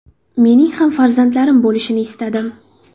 Mening ham farzandlarim bo‘lishini istadim.